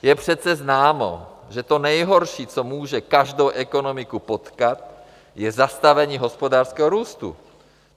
Je přece známo, že to nejhorší, co může každou ekonomiku potkat, je zastavení hospodářského růstu.